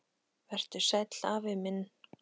Vertu sæll, afi minn.